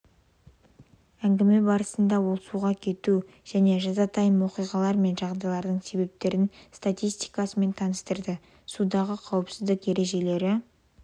әңгіме барысында ол суға кету және жазатайым оқиғалар мен жағдайлардың себептерінің статистикасымен таныстырды судағы қауіпсіздік ережелері